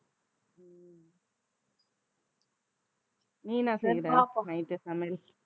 நீ என்ன night சமையல்